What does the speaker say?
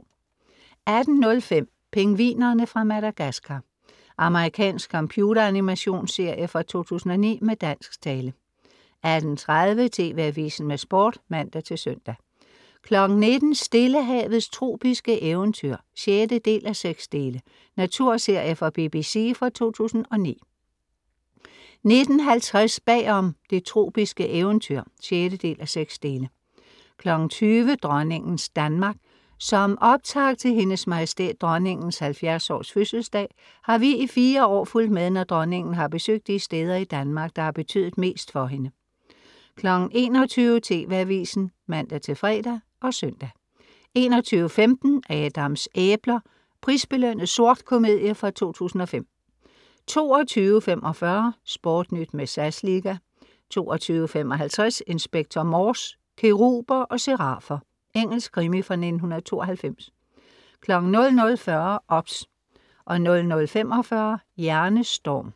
18:05 Pingvinerne fra Madagascar Amerikansk computeranimations-serie fra 2009 med dansk tale 18:30 TV AVISEN med Sport (man-søn) 19:00 Stillehavets tropiske eventyr (6:6) Naturserie fra BBC fra 2009 19:50 Bagom: Det tropiske eventyr (6:6) 20:00 Dronningens Danmark.Som optakt til Hendes Majestæt Dronningens 70 års fødselsdag har vi i fire år fulgt med, når Dronningen har besøgt de steder i Danmark, der har betydet mest for hende 21:00 TV AVISEN (man-fre og søn) 21:15 Adams æbler. Prisbelønnet sort komedie fra 2005 22:45 SportNyt med SAS liga 22:55 Inspector Morse: Keruber og serafer Engelsk krimi fra 1992 00:40 OBS 00:45 Hjernestorm